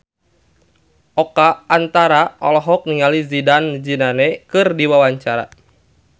Oka Antara olohok ningali Zidane Zidane keur diwawancara